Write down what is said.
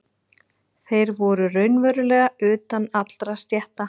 Þeir voru raunverulega utan allra stétta.